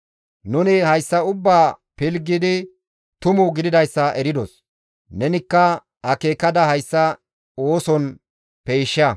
Nuni hayssa ubbaa pilggidi tumu gididayssa eridos; nenikka akeekada hayssa ooson peysha.»